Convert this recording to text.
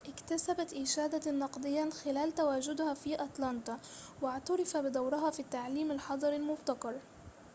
اكتسبت إشادة نقدية خلال تواجدها في أتلانتا واعتُرف بدورها في التعليم الحضري المبتكر